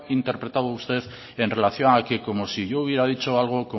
interpretado usted en relación a que como si yo hubiera dicho algo